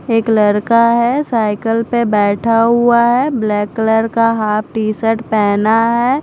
एक लरका है साईकल पे बेठा हुआ है ब्लैक कलर हाफ टीशर्ट पहना है।